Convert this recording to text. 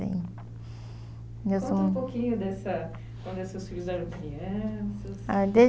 mesmo... Conta um pouquinho dessa... Quando seus filhos eram crianças.